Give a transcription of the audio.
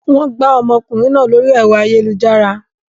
Wọ́n gbá ọmọkùnrin náà lórí ẹ̀rọ ayélujára.